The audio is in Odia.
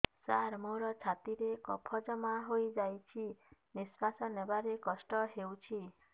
ସାର ମୋର ଛାତି ରେ କଫ ଜମା ହେଇଯାଇଛି ନିଶ୍ୱାସ ନେବାରେ କଷ୍ଟ ହଉଛି